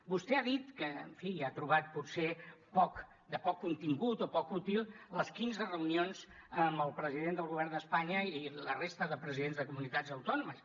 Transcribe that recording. vostè ha dit que en fi ja ha trobat potser de poc contingut o poc útil les quinze reunions amb el president del govern d’espanya i la resta de presidents de comunitats autònomes